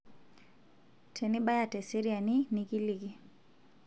tenibaya tesriani nikiliki